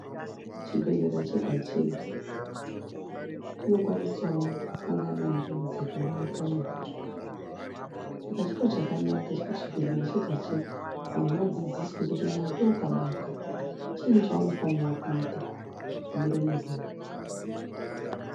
Chibhehlera chega-chega chinokwanisawo kusangana nenjodzi yekubaka mwoto. Saka chiro chakanaka chekuti chibhehlera chega-chega vanhu vadzidziswe kuti mwoto ukabaka, chiinyi chaunofanira kuita, kudzimure mwoto uyu.